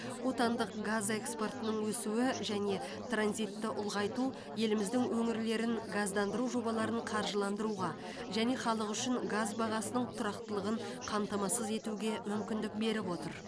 отандық газ экспортының өсуі және транзитті ұлғайту еліміздің өңірлерін газдандыру жобаларын қаржыландыруға және халық үшін газ бағасының тұрақтылығын қамтамасыз етуге мүмкіндік беріп отыр